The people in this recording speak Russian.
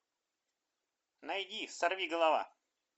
найди сорвиголова